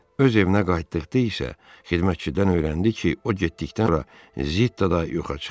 Öz evinə qayıtdıqda isə xidmətçidən öyrəndi ki, o getdikdən sonra Zittada yoxa çıxıb.